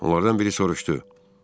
Onlardan biri soruşdu: